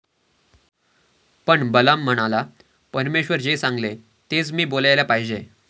पण बलाम म्हणाला, परमेश्वर जे सांगले तेच मी बोलायला पाहिजे.